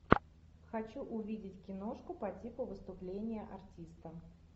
хочу увидеть киношку по типу выступления артиста